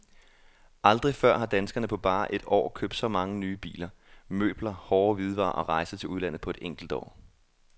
Aldrig før har danskerne på bare et år købt så mange nye biler, møbler, hårde hvidevarer og rejser til udlandet på et enkelt år.